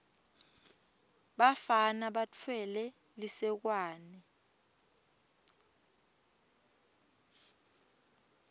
bafana batfwele lisekwane